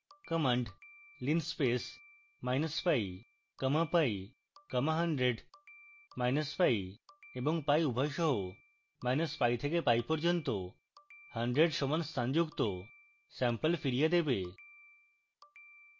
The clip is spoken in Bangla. command linspace minus pi comma pi comma 100 minus pi এবং pi উভয় সহpi থেকে pi পর্যন্ত 100 সমান স্থান যুক্ত স্যাম্পল ফিরিয়ে দেবে